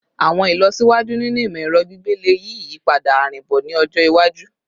Awọn ilọsiwaju ninu imọ-ẹrọ gbigbe le yi iyipada arinbo ni ọjọ iwaju